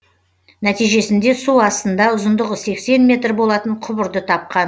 нәтижесінде су астында ұзындығы сексен метр болатын құбырды тапқан